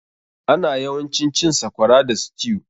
Ana yawancin cin sakwara da stew.